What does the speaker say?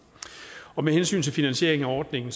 med hensyn til finansiering af ordningen